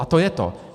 A to je to.